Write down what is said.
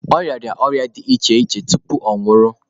Ọ rịara ọrịa dị iche iche tupu ọ nwụrụ.